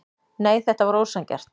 Nei, þetta var ósanngjarnt.